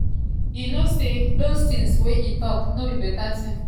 "e no say those tins wey e tok no correct no be beta tin e tok.